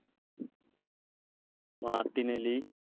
Martinelli